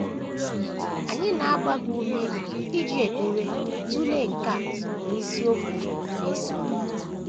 Anyị na - agba gị ume iji ekpere tụlee nke a n’isiokwu na - esonụ.